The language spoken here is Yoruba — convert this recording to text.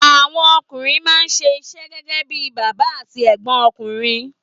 Àwọn ọkùnrin máa ń ṣe iṣẹ́ gẹ́gẹ́ bí bàbá àti ẹ̀gbọ́n ọkùnrin.